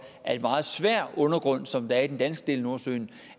af en meget svær undergrund som der er i den danske del af nordsøen